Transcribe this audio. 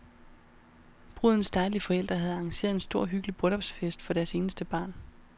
Brudens dejlige forældre havde arrangeret en stor hyggelig bryllupsfest for deres eneste barn.